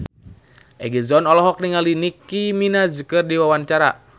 Egi John olohok ningali Nicky Minaj keur diwawancara